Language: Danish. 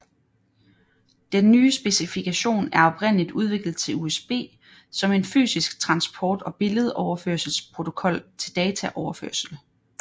Den nye specifikation er oprindeligt udviklet til USB som en fysisk transport og billedoverførselsprotokol til dataoverførsel